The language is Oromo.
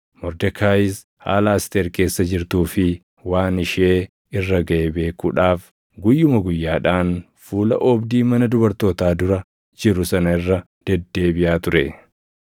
Mordekaayis haala Asteer keessa jirtuu fi waan ishee irra gaʼe beekuudhaaf guyyuma guyyaadhaan fuula oobdii mana dubartootaa dura jiru sana irra deddeebiʼaa ture.